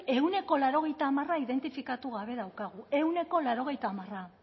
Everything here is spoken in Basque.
ehuneko laurogeita hamar identifikatu gabe daukagu ehuneko laurogeita hamar